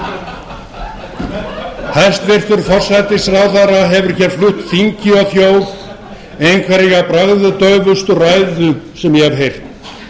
áður hæstvirtur forsætisráðherra hefur hér flutt þingi og þjóð einhverja bragðdaufustu ræðu sem ég hef heyrt